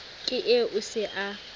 ke eo o se a